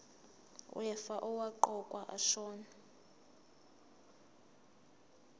wefa owaqokwa ashona